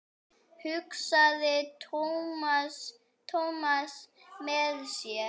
hugsaði Thomas með sér.